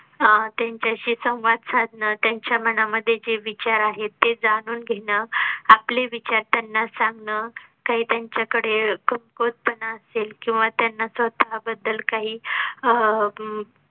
अह त्यांच्याशी संवाद साधन त्यांच्या मनामध्ये जे विचार आहेत ते जाणून घेणं, आपले विचार त्यांना सांगणं काही त्यांच्याकडे कमकुवतपणा असेल किंवा त्यांना स्वतः बद्दल काही अह